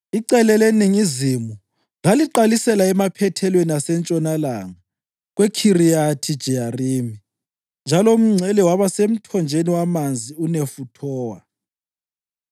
Icele leningizimu laliqalisela emaphethelweni asentshonalanga kweKhiriyathi-Jeyarimi, njalo umngcele waba semthonjeni wamanzi eNefuthowa.